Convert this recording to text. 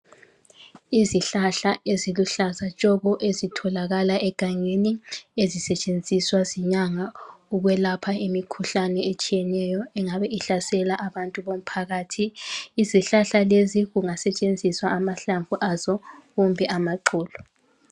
Izihlahla eziluhlaza tshoko ezitholakala egangeni ezisetshenziswa zinyanga ukwelapha imikhuhlane etshiyeneyo ingabe ihlasela abantu bomphakathi, izihlahla lezi kungasetshenziswa amahlamvu azo kumbe amaxolo.